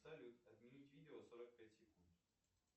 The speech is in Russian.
салют отменить видео сорок пять секунд